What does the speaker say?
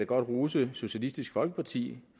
godt rose socialistisk folkeparti